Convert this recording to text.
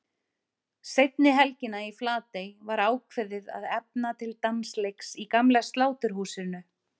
Seinni helgina í Flatey var ákveðið að efna til dansleiks í gamla Sláturhúsinu.